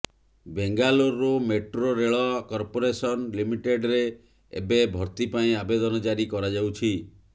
Bengaluru metro ରେଳ corporation ଲିମିଟେଡରେ ଏବେ ଭର୍ତ୍ତି ପାଇଁ ଆବେଦନ ଜାରି କରାଯାଉଛି